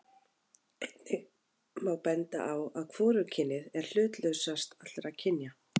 einnig má benda á að hvorugkynið er hlutlausast allra kynja